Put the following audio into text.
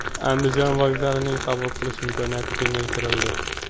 Andijon vokzalining qabul qilish imkoniyati kengaytirildi.